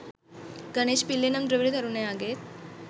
ගනේෂ් පිල්ලේ නම් ද්‍රවිඩ තරුණයාගේන්